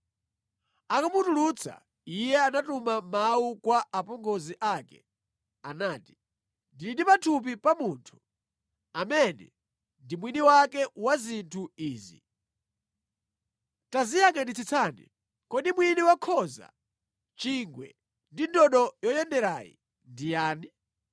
Akumutulutsa, iye anatuma mawu kwa apongozi ake. Anati, “Ndili ndi pathupi pa munthu amene ndi mwini wake wa zinthu izi. Taziyangʼanitsitsani, kodi mwini wa khoza, chingwe ndi ndodo yoyenderayi ndi yani?”